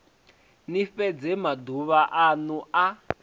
ni fhedze maduvha anu a